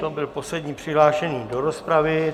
To byl poslední přihlášený do rozpravy.